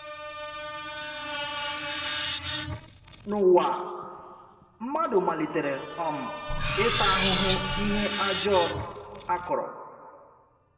N’ụ̀wa, mmadu malitere um ịta ahụhụ ihe ajọ a kọrọ.